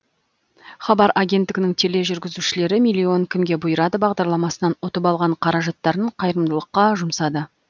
хабар агенттігінің тележүргізушілері миллион кімге бұйырады бағдарламасынан ұтып алған қаражаттарын қайырымдылыққа жұмсады